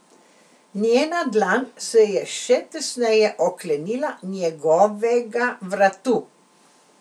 Njena dlan se je še tesneje oklenila njegovega vratu.